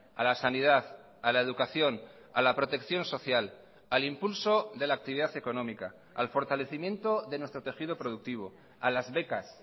a la sanidad a la educación a la protección social al impulso de la actividad económica al fortalecimiento de nuestro tejido productivo a las becas